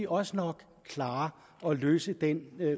også nok klare at løse den